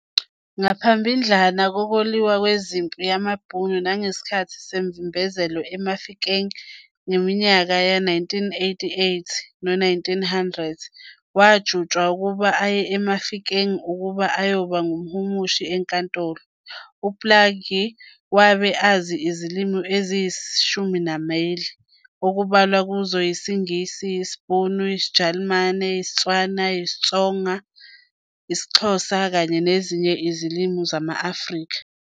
Ngaphambildlana kokuliwa kwempi yamaBhunu nangesikhathi semvimbezelo eMafikeng ngeminyaka yama-1899-1900 wajutshwa ukuba aye eMafikeng ukuba ayoba ngumhumushi enkantolo. UPlaajie wabe azi izilimi eziyi-8 okubalwa kuzo isiNgisi, isiBhunu, isiJalimane, isiTswana, isiXhosa kanye nezinye izilimi zama-Afrika.